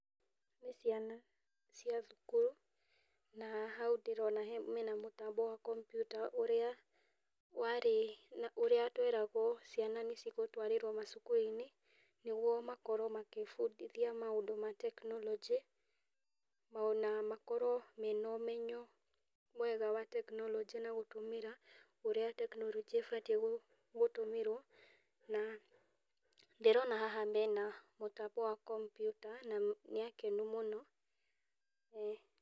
Nĩ ciana cia thukuru na hau ndĩrona hena mũtambo wa kompiuta ũrĩa warĩ, ũrĩa tweragwo ciana nĩ cigutwarĩrwo macukuru-inĩ nĩguo makorwo magĩbundithia maũndũ ma tekinoronjĩ ona makorwo mena ũmenyo mwega wa tekinoronjĩ na gũtũmĩra ũrĩa tekinoronjĩ ĩbatiĩ na ndĩrona haha mena mũtambo wa kompiuta na nĩ akenu mũno.